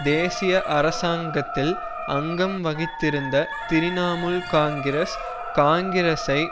தேசிய அரசாங்கத்தில் அங்கம் வகித்திருந்த திரிணமுல் காங்கிரஸ் காங்கிரஸ்ஐ